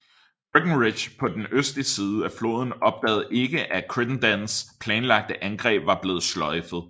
Breckinridge på den østlige side af floden opdagede ikke at Crittendens planlagte angreb var blevet sløjfet